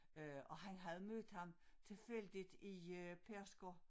Øh og han havde mødt ham tilfældigt i øh Pedersker